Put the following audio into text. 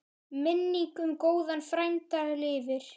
Minning um góðan frænda lifir.